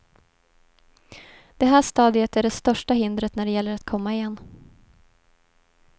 Det här stadiet är det största hindret när det gäller att komma igen.